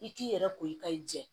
I k'i yɛrɛ koyi ka i jɛ